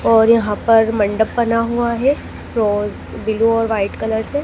और यहां पर मंडप बना हुआ है रोज ब्लू और वाइट कलर से।